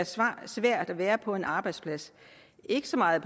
svært at være på en arbejdsplads ikke så meget